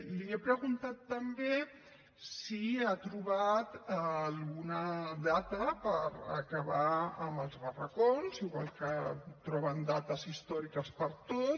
li he preguntat també si ha trobat alguna data per acabar amb els barracons igual que troben dates històriques per a tot